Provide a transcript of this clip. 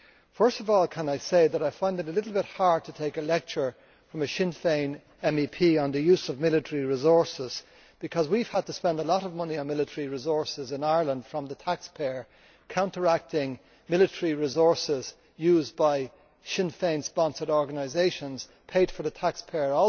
First of all, can I say that I find it a little bit hard to take a lecture from a Sinn Féin MEP on the use of military resources, because we have had to spend a lot of money on military resources in Ireland paid for by the taxpayer counteracting military resources used by Sinn Féin sponsored organisations also paid for by the taxpayer,